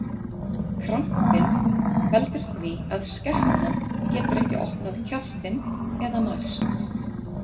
Krampinn veldur því að skepnan getur ekki opnað kjaftinn eða nærst.